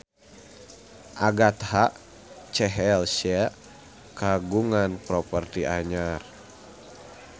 Agatha Chelsea kagungan properti anyar